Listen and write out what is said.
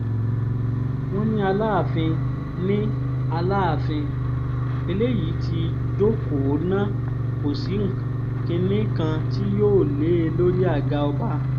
wọ́n ní aláàfin ní aláàfin eléyìí ti jókòó ná kò sí kinní kan tí yóò lé e lórí àga ọba